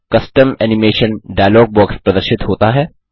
custom animation dialog box प्रदर्शित होता है